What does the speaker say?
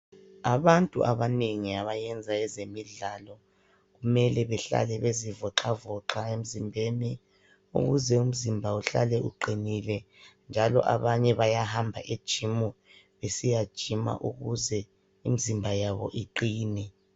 Abantu abanengi abayenza ezemidlalo kumele behlale bezivoxavoxa emzimbeni, ukuze umzimba uhlale uqinile. Njalo abanye bayahamba ejimu besiyajima ukuze imizimba yabo iqine.